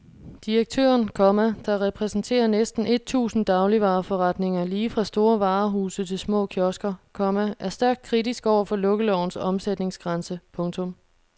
Direktøren, komma der repræsenterer næsten et tusind dagligvareforretninger lige fra store varehuse til små kiosker, komma er stærkt kritisk over for lukkelovens omsætningsgrænse. punktum